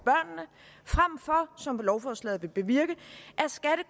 som lovforslaget vil bevirke